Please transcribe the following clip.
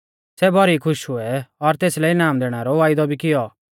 सै भौरी खुश हुऐ और तेसलै इनाम दैणै रौ वायदौ भी कियौ